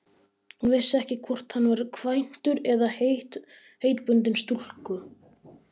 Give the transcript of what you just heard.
Hún vissi ekki hvort hann var kvæntur eða heitbundinn stúlku.